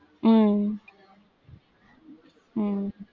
உம் உம்